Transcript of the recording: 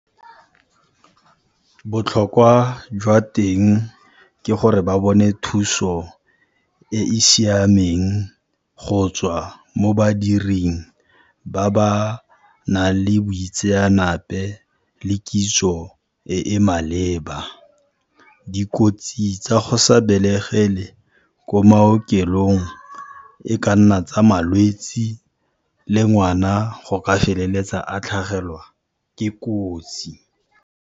Botlhokwa jwa teng ke gore ba bone thuso e e siameng go tswa mo badiring ba ba nang le boitseanape le kitso e e maleba. Dikotsi tsa go sa belegele ko maokelong e ka nna tsa malwetse le ngwana go ka feleletsa a tlhagelwa ke kotsi.